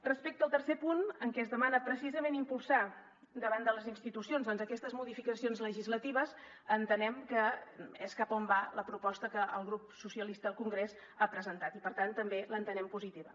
respecte al tercer punt en què es demana precisament impulsar davant de les institucions doncs aquestes modificacions legislatives entenem que és cap a on va la proposta que el grup socialista al congrés ha presentat i per tant també l’entenem positiva